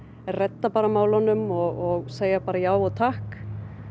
redda bara málunum og segja bara já og takk